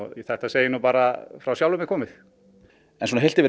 þetta segi ég nú bara frá sjálfum mér komið en heilt yfir